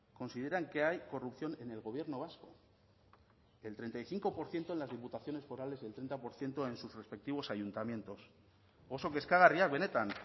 consideran que hay corrupción en el gobierno vasco el treinta y cinco por ciento en las diputaciones forales y el treinta por ciento en sus respectivos ayuntamientos oso kezkagarriak benetan